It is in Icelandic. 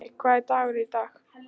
Jenni, hvaða dagur er í dag?